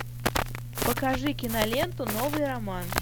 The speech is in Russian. покажи киноленту новый роман